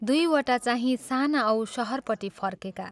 दुइवटा चाहिँ साना औ शहरपट्टि फर्केका।